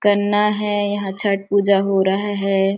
गन्ना है यहाँ छठ पूजा हो रहा है।